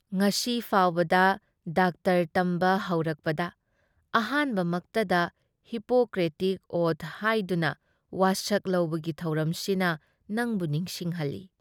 ꯉꯁꯤ ꯐꯥꯎꯕꯗ ꯗꯥꯛꯇꯔ ꯇꯝꯕ ꯍꯧꯔꯛꯄꯒꯤ ꯑꯍꯥꯟꯕꯃꯛꯇ ꯍꯤꯄꯣꯀ꯭ꯔꯦꯇꯤꯛ ꯑꯣꯊ ꯍꯥꯏꯗꯨꯅ ꯋꯥꯁꯛ ꯂꯧꯕꯒꯤ ꯊꯧꯔꯝꯁꯤꯅ ꯅꯪꯕꯨ ꯅꯤꯡꯁꯤꯡꯍꯜꯂꯤ ꯫